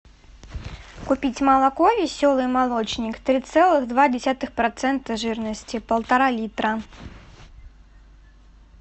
купить молоко веселый молочник три целых два десятых процента жирности полтора литра